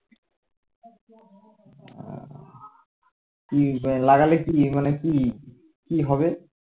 কি লাগালে কি মানে কি কি হবে